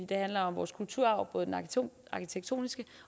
det handler om vores kulturarv både den arkitektoniske